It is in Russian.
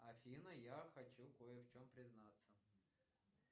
афина я хочу кое в чем признаться